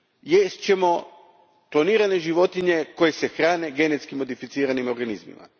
Jest ćemo klonirane životinje koje se hrane genetski modificiranim organizmima.